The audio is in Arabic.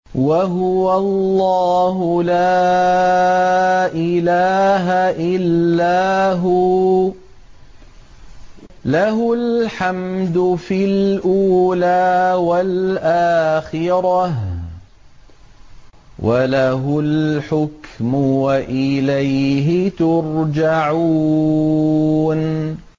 وَهُوَ اللَّهُ لَا إِلَٰهَ إِلَّا هُوَ ۖ لَهُ الْحَمْدُ فِي الْأُولَىٰ وَالْآخِرَةِ ۖ وَلَهُ الْحُكْمُ وَإِلَيْهِ تُرْجَعُونَ